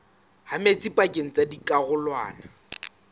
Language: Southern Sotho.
ha metsi pakeng tsa dikarolwana